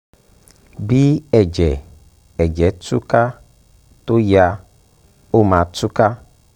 bí ẹ̀jẹ̀ ẹ̀jẹ̀ tú ká tó yá ó máa tú ká